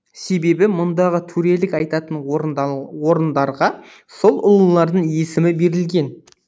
себебі мұндағы төрелік айтатын орындарға сол ұлылардың есімі берілген